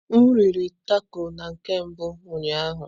M riri tako na nke mbụ ụnyaahụ.